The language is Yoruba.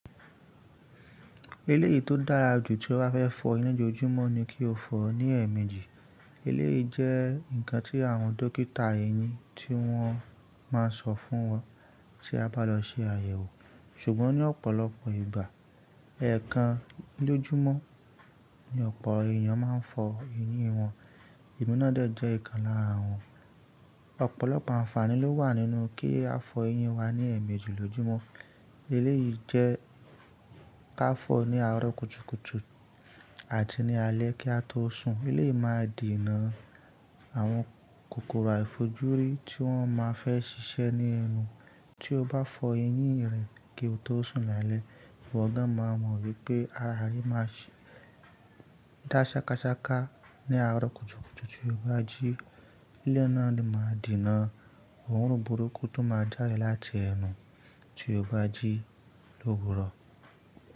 Eléyìí tó dára jù tí o bá fẹ́ fọ ẹyin lójoojúmọ́ ni kí o fọ̀ ọ́ ní ẹ̀ẹ̀mejì. Eléyìí jẹ́ nǹkan tí àwọn dókítà eyin ti wọ́n máa ń sọ fún wa tí a bá lọ ṣe àyẹ̀wò. Ṣùgbọ́n ní ọ̀pọ̀lọpọ̀ ìgbà, ẹ̀ẹ̀kan lójoojúmọ́ ni ọ̀pọ̀ èèyàn máa ń fọ ẹyin wọn. Emi na de jẹ́ ikan lára wọn. Ọ̀pọ̀lọpọ̀ àǹfààní ló wà nínú kí a fọ ẹyin wa ní ẹ̀ẹ̀mejì lójoojúmọ́. Eléyìí jẹ́ ka fọ̀ ọ́ ní àárọ́ kùtùkùtù àti ní alẹ́ kí a tó sùn. Eleyii máa dena àwọn kòkòrò àìfojúrí tí wọ́n máa fẹ́ ṣiṣẹ́ ní ẹnu. Tí o bá fọ ẹyin rẹ̀ kí o tó sùn ní alẹ́, iwo gan máa mọ̀ pé ara re máa dá ṣakáṣaká ní àárọ̀ kùtùkùtù, tí o bá jí. Eleyii naa a de máa dìná. Orun burúkú tó máa jade láti ẹ̀nu tí o bá jí lówúrọ̀.